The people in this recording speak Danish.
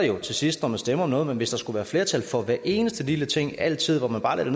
jo til sidst når man stemmer om noget men hvis der skulle være flertal for hver eneste lille ting altid når man bare lagde det